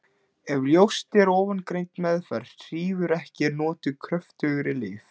Ef ljóst er að ofangreind meðferð hrífur ekki eru notuð kröftugri lyf.